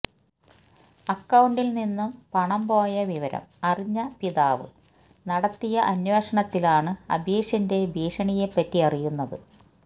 അക്കൌണ്ടിൽ നിന്നും പണം പോയ വിവരം അറിഞ്ഞ പിതാവ് നടത്തിയ അന്വേഷണത്തിലാണ് അബീഷിന്റെ ഭീഷണിയെപറ്റി അറിയുന്നത്